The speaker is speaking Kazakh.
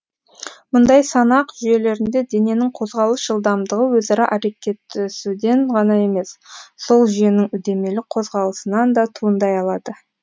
мұндай санақ жүйелерінде дененің қозғалыс жылдамдығы өзара әрекеттесуден ғана емес сол жүйенің үдемелі қозғалысынан да туындай алады